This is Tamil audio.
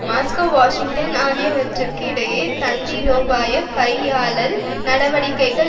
மாஸ்கோ வாஷிங்டன் ஆகியவற்றிற்கு இடையே தந்திரோபாய கையாளல் நடவடிக்கைகள்